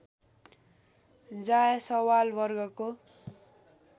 जायसवाल वर्गको